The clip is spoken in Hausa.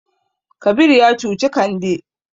Kabir ya cuci Kande.